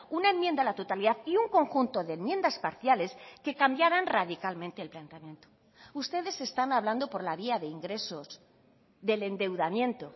una enmienda a la totalidad y un conjunto de enmiendas parciales que cambiaran radicalmente el planteamiento ustedes están hablando por la vía de ingresos del endeudamiento